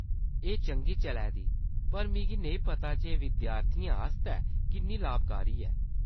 एह्‌‌ चंगी चलै दी, पर मिगी नेईं पता जे एह्‌‌ विद्यार्थियें आस्तै किन्नी लाभकारी ऐ।